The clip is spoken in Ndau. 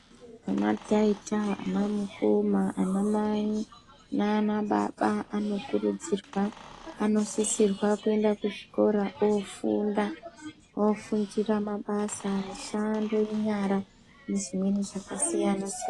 Ana taita ana mukoma ana mai nana baba ,anokurudzirwa anosisirwa kuenda kuzvikora oofunda ,ofundira mabasa ,mishando yenyara ,ngezvimweni zvakasiyana siyana .